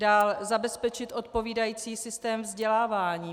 Dále zabezpečit odpovídající systém vzdělávání.